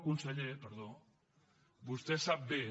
conseller perdó vostè sap bé